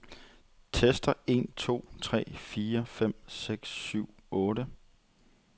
Tester en to tre fire fem seks syv otte.